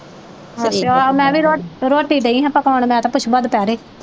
ਅਛਿਆ ਉਨ੍ਹਾਂ ਦੀ ਰੋਟੀ ਰੋਟੀ ਡਈਂ ਹਾਂ ਪਕਾਉਣ ਮੈਂ ਤੇ ਪੁਸ਼ਪਾ ਦੁਪਹਿਰੇ।